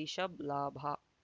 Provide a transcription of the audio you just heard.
ರಿಷಬ್ ಲಾಭ